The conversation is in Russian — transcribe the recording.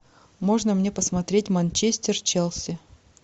можно мне посмотреть манчестер челси